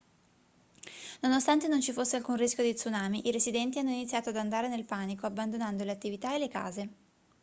nonostante non ci fosse alcun rischio di tsunami i residenti hanno iniziato ad andare nel panico abbandonando le attività e le case